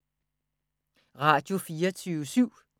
Radio24syv